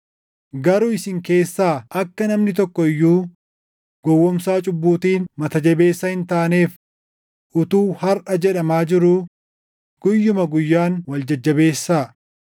Garuu isin keessaa akka namni tokko iyyuu gowwoomsaa cubbuutiin mata jabeessa hin taaneef utuu “Harʼa” jedhamaa jiruu guyyuma guyyaan wal jajjabeessaa.